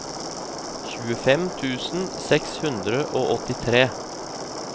tjuefem tusen seks hundre og åttitre